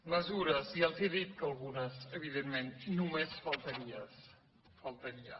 mesures ja els he dit que algunes evidentment només faltaria